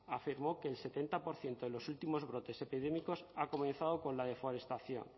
afirmó que el setenta por ciento de los últimos brotes epidémicos ha comenzado con la deforestación